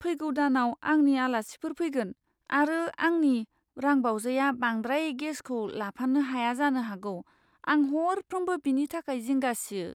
फैगौ दानाव आंनि आलासिफोर फैगोन, आरो आंनि रांबावजाया बांद्राय गेसखौ लाफानो हाया जानो हागौ। आं हरफ्रोमबो बेनि थाखाय जिंगा सियो।